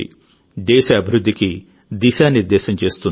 దేశ అభివృద్ధికి దిశానిర్దేశం చేస్తుంది